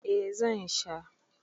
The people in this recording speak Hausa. eh zan. Sha